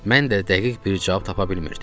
Mən də dəqiq bir cavab tapa bilmirdim.